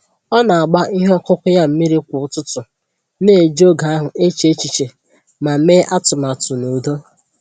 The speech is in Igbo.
Ọ na agba ihe ọkụkụ ya mmiri kwa ụtụtụ, na-eji oge ahụ eche echiche ma mee atụmatụ n'udo.